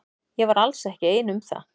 Ég var alls ekki ein um það.